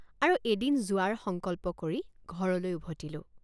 আৰু এদিন যোৱাৰ সংকল্প কৰি ঘৰলৈ উভতিলোঁ।